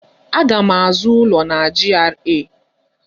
Aga m azụ ụlọ na GRA.